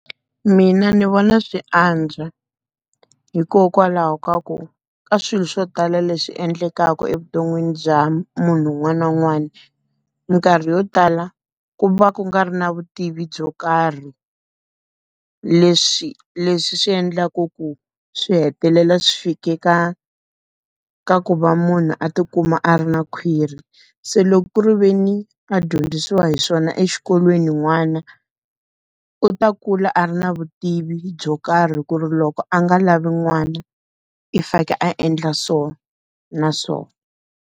Mina ndzi vona swi antswa. Hikokwalaho ka ku ka swilo swo tala leswi endlekaka evuton'wini bya munhu un'wana na un'wana, minkarhi yo tala ku va ku nga ri na vutivi byo karhi. Leswi leswi swi endlaku ku swi hetelela swi fike ka, ka ku va munhu a ti kuma a ri na khwiri. Se loko ku ri ve ni a dyondza swo wa hi swona exikolweni n'wana, u ta kula a ri na vutivi byo karhi ku ri loko a nga lavi n'wana i fanekele a endla so na so.